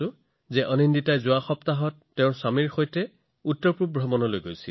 আনন্দিতাই যোৱা সপ্তাহত তেওঁৰ স্বামীৰ সৈতে উত্তৰপূৰ্বাঞ্চল ভ্ৰমণৰ বাবে গৈছিল